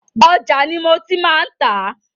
Òja ni mo tí má ń tà a.